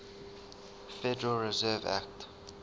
federal reserve act